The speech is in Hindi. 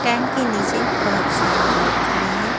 टैंट के नीचे बहुत सारे लोग खड़े हैं।